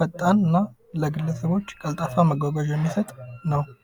ፈጣን እና ለግለሰቦች ቀልጣፋ አገልግሎት የሚሰጥ ነው።